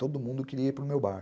Todo mundo queria ir para o meu bar.